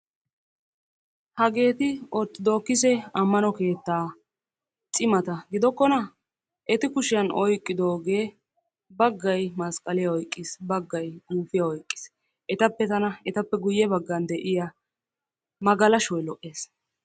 Hageeti orttodokkisse ammano keettaa cimata giddokkona? Eti kushshiyan oyqqiddoogee baggay masqqaliya oyqqiis baggay guufiya oyqqiis . Etappe tana, etappe guye baggan de'iya magalashoy lo'ees.